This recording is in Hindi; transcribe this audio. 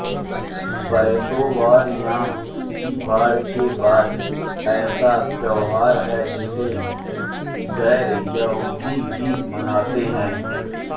पासोवर यॉम किपर के बाद ऐसा त्योहार है जिसे गैर यहूदी भी मनाते हैं